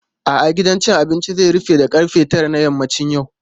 A'a, gidan cin abinci zai rufe da ƙarfe tara a yammacin yau.